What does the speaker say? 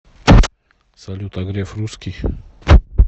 салют а греф русский